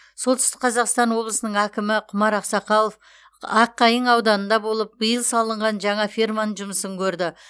солтүстік қазақстан облысының әкімі құмар ақсақалов аққайың ауданында болып биыл салынған жаңа ферманың жұмысын көрді